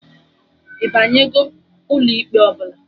Ịbanyego ụlọ ikpe ọbụla?